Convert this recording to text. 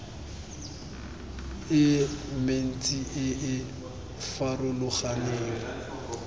e mentsi e e farologaneng